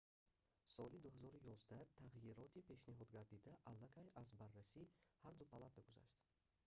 соли 2011 тағйироти пешниҳодгардида аллакай аз барраси ҳарду палата гузашт